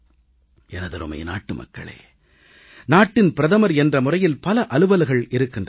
எனதருமை நாட்டு மக்களே நாட்டின் பிரதமர் என்ற முறையில் பல அலுவல்கள் இருக்கின்றன